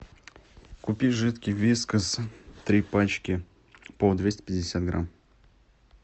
купи жидкий вискас три пачки по двести пятьдесят грамм